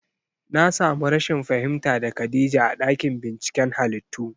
Na samu rashin fahimta da khadija a ɗakin binciken halittu